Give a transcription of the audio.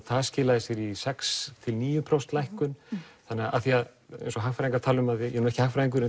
það skilaði sér í sex til níu prósent lækkun af því að eins og hagfræðingar tala um ég er nú ekki hagfræðingur en